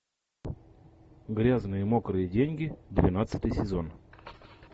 грязные мокрые деньги двенадцатый сезон